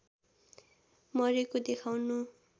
मरेको देखाउनु